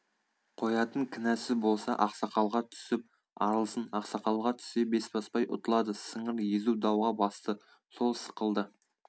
қоятын кінәсі болса ақсақалға түсіп арылсын ақсақалға түссе бесбасбай ұтылады сыңыр езу дауға басты сол сықылды